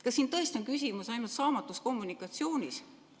Kas tõesti on küsimus ainult saamatus kommunikatsioonis?